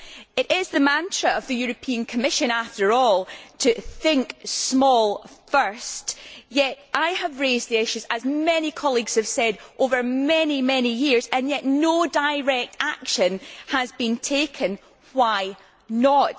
It is the mantra of the European Commission, after all, to think small first', yet I have been raising this issue, as many colleagues have said, for many, many years, and yet no direct action has been taken why not?